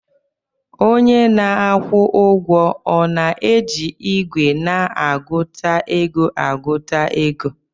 Onye na-akwụ ụgwọ ọ na-eji igwe na-agụta ego agụta ego